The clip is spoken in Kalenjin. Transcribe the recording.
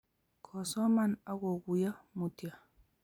Kosoman akokuiyo mutyo